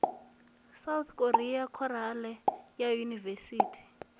south korea khorale ya yunivesithi